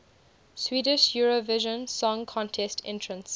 swedish eurovision song contest entrants